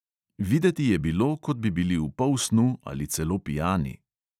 Videti je bilo, kot bi bili v polsnu ali celo pijani.